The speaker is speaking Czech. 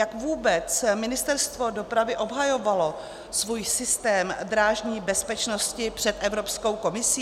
Jak vůbec Ministerstvo dopravy obhajovalo svůj systém drážní bezpečnosti před Evropskou komisí?